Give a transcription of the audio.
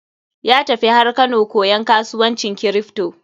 Ya tafi har Kano koyan kasuwancin kripto.